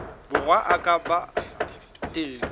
borwa a ka ba teng